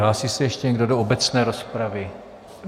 Hlásí se ještě někdo do obecné rozpravy?